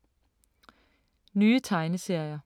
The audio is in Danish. Nye tegneserier